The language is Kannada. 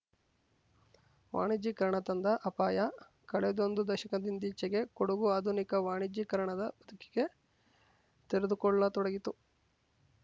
ವಾಣಿಜ್ಯೀಕರಣ ತಂದ ಅಪಾಯ ಕಳೆದೊಂದು ದಶಕದಿಂದೀಚೆಗೆ ಕೊಡಗು ಆಧುನಿಕ ವಾಣಿಜ್ಯೀಕರಣದ ಬದುಕಿಗೆ ತೆರೆದುಕೊಳ್ಳತೊಡಗಿತು